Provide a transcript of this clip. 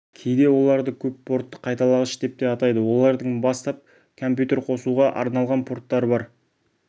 кейде оларды көп портты қайталағыш деп атайды олардың бастап компьютер қосуға арналған порттары бар